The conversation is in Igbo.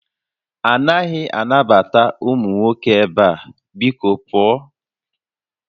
A naghị anabata ụmụ nwoke ebe a! Biko pụọ